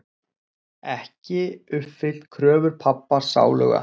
Ekki uppfyllt kröfur pabba sáluga.